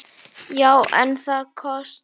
Já, en það kostar!